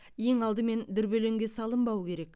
ең алдымен дүрбелеңге салынбау керек